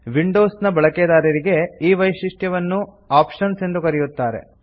Windows ಬಳಿಕೆದಾರರಿಗೆ ಈ ವೈಶಿಷ್ಟ್ಯವನ್ನು ಆಪ್ಷನ್ಸ್ ಎಂದು ಕರೆಯುತ್ತಾರೆ